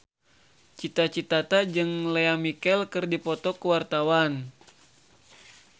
Cita Citata jeung Lea Michele keur dipoto ku wartawan